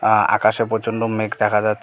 আ আকাশে প্রচন্ড মেঘ দেখা যাচ --